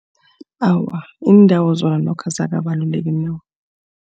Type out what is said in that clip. Awa, iindawo zona nokho azikakabaluleki